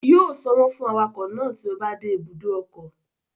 Yóò sanwó fún awakọ̀ náà tí ó bá dé ibùdó ọkọ̀